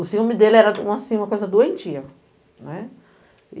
O ciúme dele era, assim, uma coisa doentia, né.